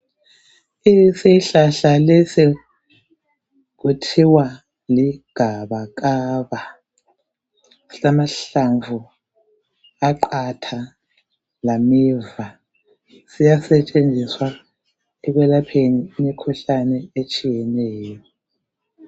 Isihlahla lesi kuthiwa ligabakaba, silamahlamvu aqatga lameva . Siyasetshenziswa ekwelapheni imikhuhlane etshiyeneyo.